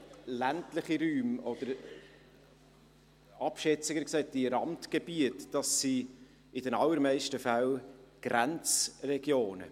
– Ländliche Räume oder, abschätziger gesagt, Randgebiete sind in den allermeisten Fällen Grenzregionen.